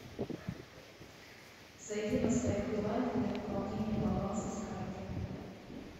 зайди на сайт билайна для пополнения баланса с карты